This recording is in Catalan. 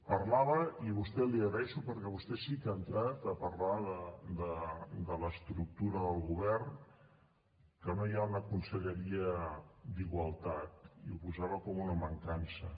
parlava i a vostè l’hi agraeixo perquè vostè sí que ha entrat a parlar de l’estructura del govern que no hi ha una conselleria d’igualtat i ho posava com una mancança